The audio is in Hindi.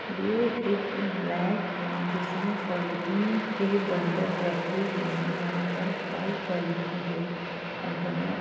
ये एक रैक है जिसमे पॉलिथीन के बंडल रखे हुए हैं । यहाँ पर वाइट पॉलिथीन के बंडल हैं।